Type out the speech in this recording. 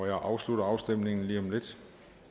jeg afslutter afstemningen lige om lidt